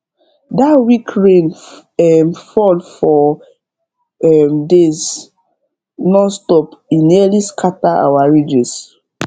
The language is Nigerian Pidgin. that week rain um fall four um days nonstop e nearly scatter our ridges